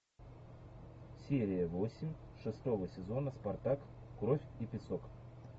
серия восемь шестого сезона спартак кровь и песок